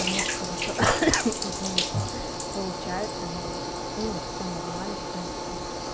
потому что хорошо извиняюсь получает там ну всё нормально в принципе